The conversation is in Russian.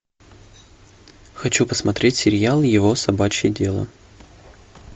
хочу посмотреть сериал его собачье дело